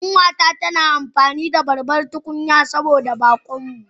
Kanwata tana girki da babbar tukunya saboda bakon mu.